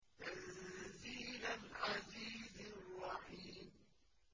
تَنزِيلَ الْعَزِيزِ الرَّحِيمِ